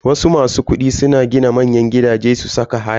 Wasu masu kudi na gina manyan gidaje su saka haya.